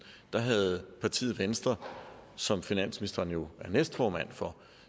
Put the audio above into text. havde partiet venstre som finansministeren jo er næstformand for